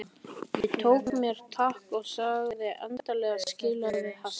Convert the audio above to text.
Ég tók mér tak og sagði endanlega skilið við hassið.